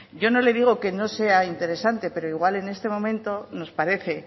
yo no le digo que no sea interesante pero igual en este momento nos parece